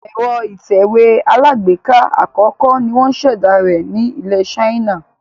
Èro ìtẹ̀wé alágbèká àkókó ni wón sèdá rẹ̀ ni ilè China